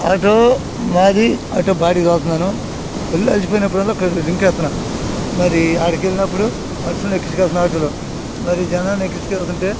మరి ఆడికి వెళ్ళినప్పుడు మనుషుల్ని ఎక్కించుకెల్తున్నను ఆటో లో. మరి జనాలను ఎక్కించికెళ్తుంటే--